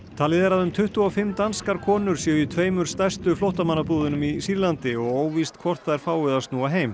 talið er að um tuttugu og fimm danskar konur séu í tveimur stærstu flóttamannabúðunum í Sýrlandi og óvíst hvort þær fái að snúa heim